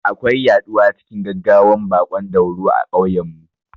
Akwai yaɗuwa cikin gaggawan baƙon dauro a kauyen mu